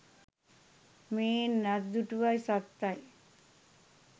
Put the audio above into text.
මේන් අත්දුටුවයි සත්තයි